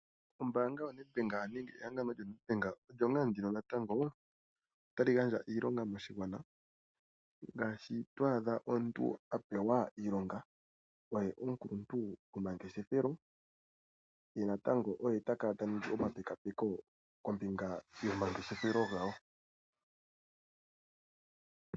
Ombaanga yehangano lyo Nedbank ota yi gandja iilonga moshigwana. Oto adha omuntu a pewa ompito yiilonga yuukuluntu gwomangeshefelo, ye natango ta ningwa omuningi gwomapekaapeko kombinga yomangeshefelo ga wo.